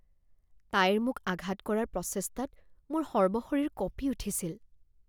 তাইৰ মোক আঘাত কৰাৰ প্ৰচেষ্টাত মোৰ সৰ্বশৰীৰ কঁপি উঠিছিল।